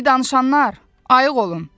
Ey danışanlar, ayıq olun.